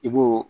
I b'o